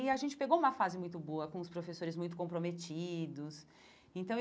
E a gente pegou uma fase muito boa, com os professores muito comprometidos então.